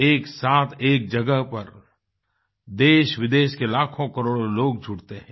एक साथ एक जगह पर देशविदेश के लाखों करोड़ों लोग जुड़ते हैं